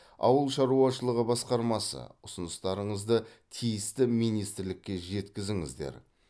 ауыл шаруашылығы басқармасы ұсыныстарыңызды тиісті министрлікке жеткізіңіздер